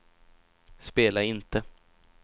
spela inte